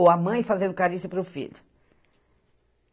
Ou a mãe fazendo carícia para o filho.